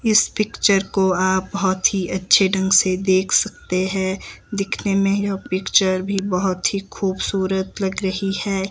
इस पिक्चर को आप बोहोत ही अच्छे ढंग से देख सकते है दिखने में यह पिक्चर भी बहोत ही खूबसूरत लग रही है।